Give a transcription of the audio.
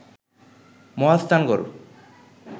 Mahasthangarh